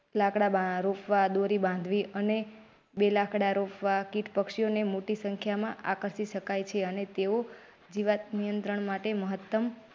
લાકડા બા રોપવા દોરી બાંધવી અને બે લાકડા રોપવા કીટ પક્ષીઓને મોટી સંખ્યામાં આકર્ષિ શકાય છે અને તેઓ જીવાત નિયંત્રણ માટે મહત્તમ.